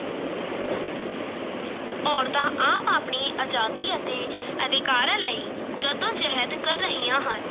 ਔਰਤਾਂ ਆਪ ਆਪਣੀ ਆਜ਼ਾਦੀ ਅਤੇ ਅਧਿਕਾਰਾਂ ਲਈ ਜੱਦੋ-ਜਹਿਦ ਕਰ ਰਹੀਆਂ ਹਨ।